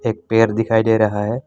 एक पेड़ दिखाई दे रहा है।